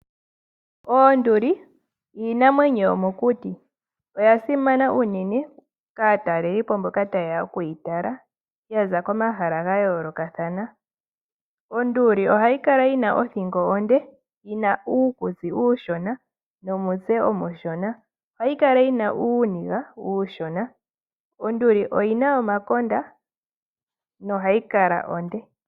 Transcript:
Oonduli iinamwenyo yo mokuti oya simana unene kaatalelipo mbokataye ya oku yi tala, ya za komahala ga yoolokathana. Onduli ohayi kala yi na othingo onde yina uukutsi uushona nomutse omushona. Ohayi kala yina uuniga uushona. Onduli oyina omakonda nohayi kala onde.